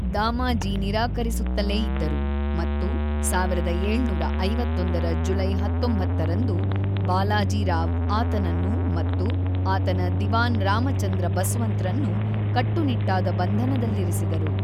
ದಾಮಾಜಿ ನಿರಾಕರಿಸುತ್ತಲೇ ಇದ್ದರು ಮತ್ತು ೧೭೫೧ರ ಜುಲೈ ೧೯ರಂದು ಬಾಲಾಜಿ ರಾವ್ ಆತನನ್ನು ಮತ್ತು ಆತನ ದಿವಾನ್ ರಾಮಚಂದ್ರ ಬಸ್ವಂತ್‌ರನ್ನು ಕಟ್ಟುನಿಟ್ಟಾದ ಬಂಧನದಲ್ಲಿರಿಸಿದರು.